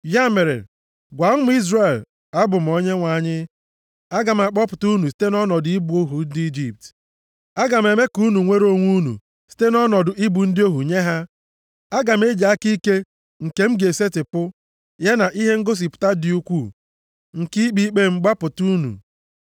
“Ya mere, gwa ụmụ Izrel, ‘Abụ m Onyenwe anyị. Aga m akpọpụta unu site nʼọnọdụ ịbụ ohu ndị Ijipt. Aga m eme ka unu nwere onwe unu site nʼọnọdụ ịbụ ndị ohu nye ha. Aga m eji aka ike m nke m ga-esetipụ, ya na ihe ngosipụta dị ukwuu nke ikpe ikpe m, gbapụta unu.